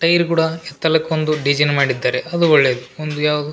tyre ಕೂಡ ಎತ್ತಲಕ್ಕೊಂದು design ಮಾಡಿದ್ದಾರೆ ಅದು ಒಳ್ಳೇದು ಒಂದು ಯಾವ್ದು --